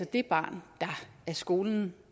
det barn der af skolen